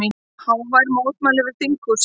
Hávær mótmæli við þinghúsið